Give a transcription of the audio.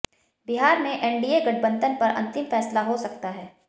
बिहार में एनडीए गठबंधन पर अंतिम फैसला हो सकता है